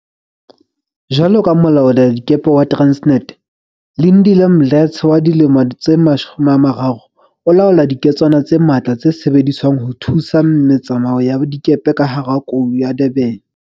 Jwaloka molaoladikepe wa Transnet, Lindile Mdletshe wa dilemo tse 30 o laola diketswana tse matla tse sebediswang ho thusa me tsamao ya dikepe ka hara Kou ya Durban.